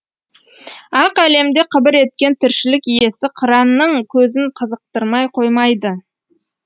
ақ әлемде қыбыр еткен тіршілік иесі қыранның көзін қызықтырмай қоймайды